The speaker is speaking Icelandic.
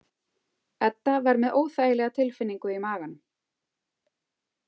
Edda var með óþægilega tilfinningu í maganum.